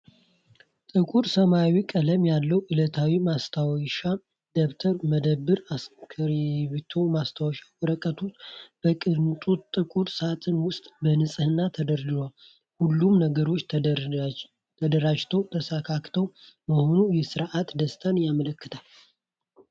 ጥቁር ሰማያዊ ቀለም ያለው ዕለታዊ ማስታወሻ ደብተር፣ መዳብማ እስክሪብቶና ማስታወሻ ወረቀቶች በቅንጡ ጥቁር ሳጥን ውስጥ በንጽህና ተደርድረዋል። ሁሉም ነገር የተደራጀና የተስተካከለ መሆኑ የሥርዓትን ደስታ ያመለክታል።